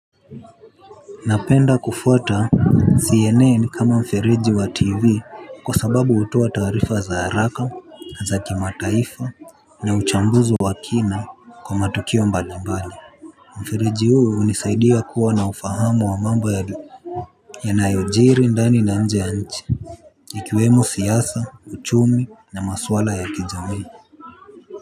Napenda kufuata CNN kama mfereji wa tv kwa sababu hutoa taarifa za haraka na za kimataifa na uchambuzi wa kina kwa matukio mbalimbali. Mfereji huu hunisaidia kuwa na ufahamu wa mambo yanayojili ndani na nje ya nchi. Ikiwemo siasa uchumi na maswala ya kijamii.